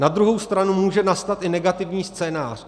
Na druhou stranu může nastat i negativní scénář.